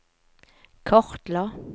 kartla